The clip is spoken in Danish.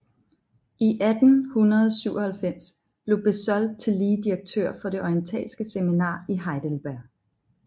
I 1897 blev Bezold tillige direktør for det orientalske seminar i Heidelberg